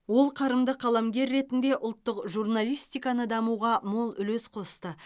ол қарымды қаламгер ретінде ұлттық журналистиканы дамытуға мол үлес қосты